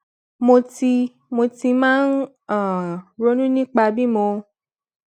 mo ti mo ti máa ń um ronú nípa bí mo